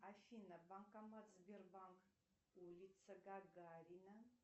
афина банкомат сбербанк улица гагарина